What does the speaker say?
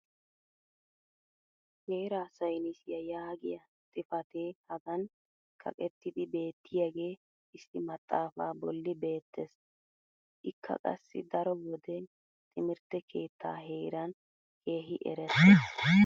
heeraa saynissiya yaagiya xifatee hagan kaqettidi beetiyaagee issi maxaafaa boli beetees. ikka qassi daro wode timirtte keehhaa heeran keehi eretees.